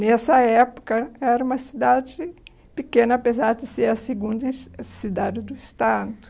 Nessa época, era uma cidade pequena, apesar de ser a segunda cidade do Estado.